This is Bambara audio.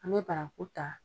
An bɛ baraku ta.